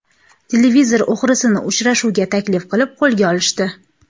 Televizor o‘g‘risini uchrashuvga taklif qilib qo‘lga olishdi .